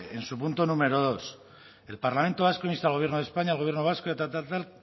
en su punto número dos el parlamento vasco insta al gobierno de españa al gobierno vasco y tal tal tal